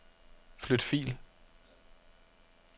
Flyt fil.